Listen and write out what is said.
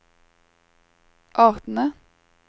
artene